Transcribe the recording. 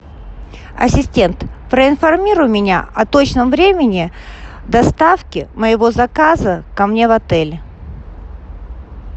ассистент проинформируй меня о точном времени доставки моего заказа ко мне в отель